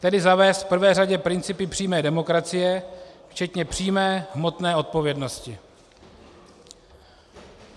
Tedy zavést v prvé řadě principy přímé demokracie včetně přímé hmotné odpovědnosti.